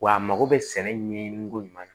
Wa a mago bɛ sɛnɛ ɲɛɲini ko ɲuman na